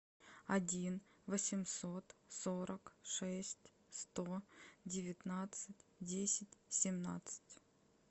один восемьсот сорок шесть сто девятнадцать десять семнадцать